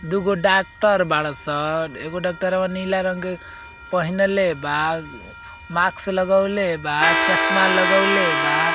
दुगो डॉक्टर बाड़ां सन एगो डाक्टरवा नीला रंग पहिनले बा माक्स लगउले बा चस्मा लगउले बा।